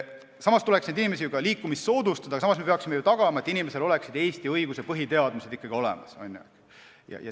Inimeste liikumist tuleks soodustada, aga me peaksime ju tagama, et inimesel oleksid ikkagi olemas põhiteadmised Eesti õigusest.